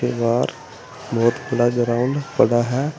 बाहर बहुत खुला ग्राउंड पड़ा है।